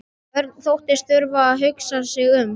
Örn þóttist þurfa að hugsa sig um.